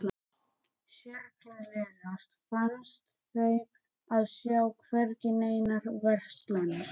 Sérkennilegast fannst þeim að sjá hvergi neinar verslanir.